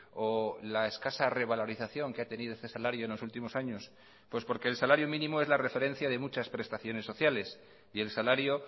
o la escasa revalorización que ha tenido este salario en los últimos años pues porque el salario mínimo es la referencia de muchas prestaciones sociales y el salario